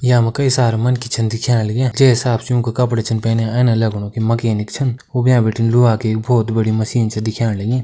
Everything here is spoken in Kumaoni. यामा कई सारा मनखी छन दिख्या लग्या जै हिसाब से यूँका कपड़ा छन पैनया ऐना लगणु की मकेनिक छन उब्या बटी लोआ के बोहोत बड़ी मशीन छ दिख्याण लगी।